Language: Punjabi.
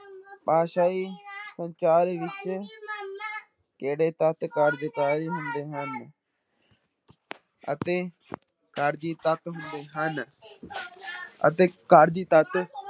ਭਾਸ਼ਾਈ ਸੰਚਾਰ ਵਿੱਚ ਕਿਹੜੇ ਤੱਤ ਕਾਰਜਕਾਲੀ ਹੁੰਦੇ ਹਨ ਅਤੇ ਕਾਰਜੀ ਤੱਤ ਹੁੰਦੇ ਹਨ ਅਤੇ ਕਾਰਜੀ ਤੱਤ